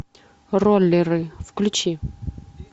роллеры включи